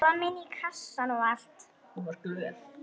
Komin í kassann og allt.